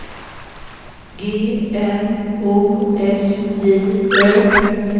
G N O S J Ö